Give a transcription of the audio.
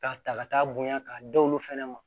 K'a ta ka taa bonya k'a da olu fɛnɛ ma